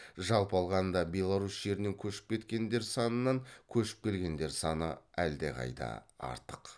жалпы алғанда беларусь жерінен көшіп кекендер санынан көшіп келгендер саны әлдеқайда артық